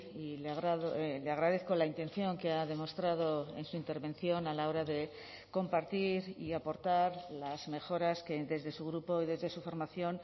y le agradezco la intención que ha demostrado en su intervención a la hora de compartir y aportar las mejoras que desde su grupo y desde su formación